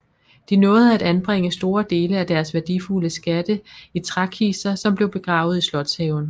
De nåede at anbringe store dele af deres værdifulde skatte i trækister som blev begravet i slotshaven